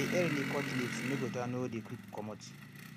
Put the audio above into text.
i dey earily cut leaves make water no dey quick comot